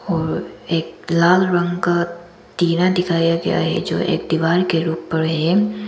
और एक लाल रंग का टीना दिखाया गया है जो एक दीवार के उपर हैं।